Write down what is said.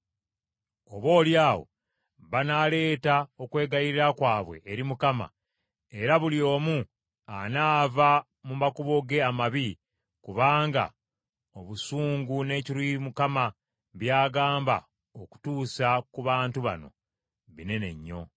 Oboolyawo banaaleeta okwegayirira kwabwe eri Mukama , era buli omu anaava mu makubo ge amabi, kubanga obusungu n’ekiruyi Mukama by’agambye okutuusa ku bantu bano binene nnyo.”